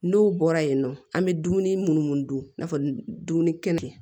N'o bɔra yen nɔ an bɛ dumuni minnu dun i n'a fɔ dumuni kɛnɛ